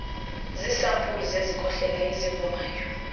ziisampuli zezikhohlela ezivumayo